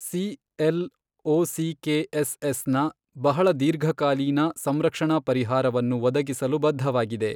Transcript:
CLOCKSS ನ ಬಹಳ ದೀರ್ಘಕಾಲೀನ ಸಂರಕ್ಷಣಾ ಪರಿಹಾರವನ್ನು ಒದಗಿಸಲು ಬದ್ಧವಾಗಿದೆ.